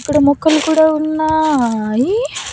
ఇక్కడ మొక్కలు కూడా ఉన్నాయి.